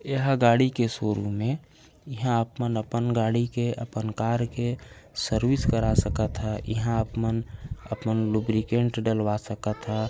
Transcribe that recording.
एहा गाड़ी के शोरूम ए इहाँ आपमन अपन गाड़ी के अपन कार के सर्विस करा सकत ह इहाँ आपमन आपमन लूमबरीकेन्ट डलवा सकत ह--